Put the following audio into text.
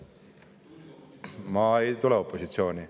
Ma ei tule opositsiooni.